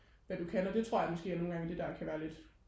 hvad du kan og det tror jeg måske er nogen gange det der kan være lidt